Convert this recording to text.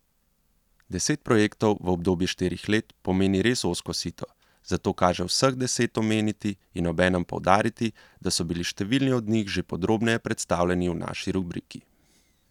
Deset projektov v obdobju štirih let pomeni res ozko sito, zato kaže vseh deset omeniti in obenem poudariti, da so bili številni od njih že podrobneje predstavljeni v naši rubriki.